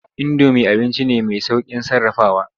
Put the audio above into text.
Indomi abinci ne mai sauƙin sarrafawa.